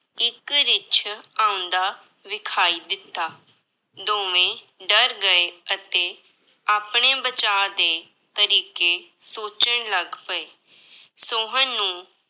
ਇੱਕ ਰਿੱਛ ਆਉਂਦਾ ਵਿਖਾਈ ਦਿੱਤਾ, ਦੋਵੇਂ ਡਰ ਗਏ ਅਤੇ ਆਪਣੇ ਬਚਾਅ ਦੇ ਤਰੀਕੇ ਸੋਚਣ ਲੱਗ ਪਏ, ਸੋਹਨ ਨੂੰ